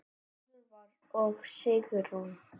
Úlfar og Sigrún.